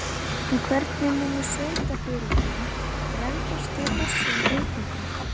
En hvernig munu sveitarfélögin bregðast við þessum breytingum?